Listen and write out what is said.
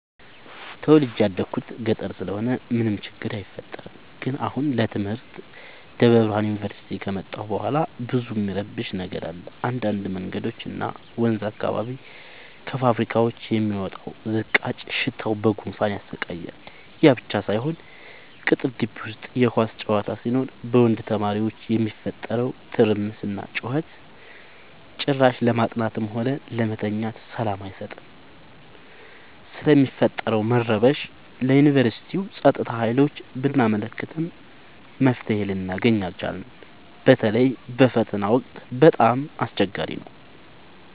ተወልጄ የደኩት ገጠር ስለሆነ ምንም ችግር አይፈጠርም። ግን አሁን ለትምህርት ደብረብርሃን ዮንቨርሲቲ ከመጣሁ በኋላ ብዙ እሚረብሽ ነገር አለ እንዳድ መንገዶች እና ወንዝ አካባቢ ከፋብካዎች የሚወጣው ዝቃጭ ሽታው በጉንፋን ያሰቃያል። ያብቻ ሳይሆን ቅጥር ጊቢ ውስጥ የኳስ ጨዋታ ሲኖር በወንድ ተማሪዎች የሚፈጠረው ትርምስና ጩኸት ጭራሽ ለማጥናትም ሆነ ለመተኛት ሰላም አይሰጥም። ስለሚፈጠረው መረበሽ ለዮንቨርስቲው ፀጥታ ሀይሎች ብናመለክትም መፍትሔ ልናገኝ አልቻልም። በተለይ በፈተና ወቅት በጣም አስቸገሪ ነው።